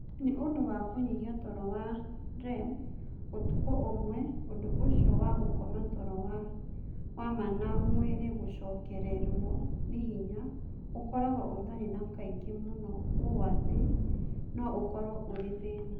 Nĩ ũndũ wa kũnyihia toro wa REM ũtukũ ũmwe, ũndũ ũcio wa gũkoma toro wa ma na mwĩrĩ gũcokererũo nĩ hinya ũkoragwo ũtarĩ wa kaingĩ mũno ũũ atĩ no ũkorũo ũrĩ thĩna.